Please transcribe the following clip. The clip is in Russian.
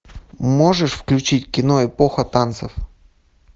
можешь включить кино эпоха танцев